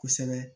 Kosɛbɛ